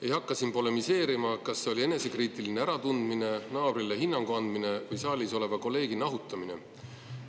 Ei hakka siin polemiseerima, kas see oli enesekriitiline äratundmine, naabrile hinnangu andmine või saalis oleva kolleegi nahutamine.